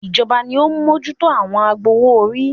Ìjọba ni ó ń mójútó àwọn agbowó - orí